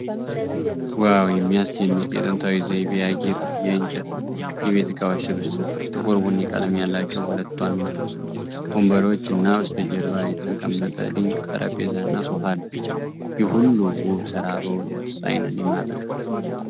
ዋው! የሚያስደንቅ የጥንታዊ ዘይቤ ያጌጠ የእንጨት የቤት ዕቃዎች ስብስብ! ጥቁር ቡኒ ቀለም ያላቸው ሁለት ዋና ወንበሮች እና በስተጀርባ የተቀመጠ ድንቅ ጠረጴዛና ሶፋ አለ። ይህ ሁሉ ውብ ስራ በእውነት ዓይንን ይማርካል።